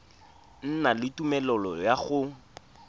na le tumelelo ya go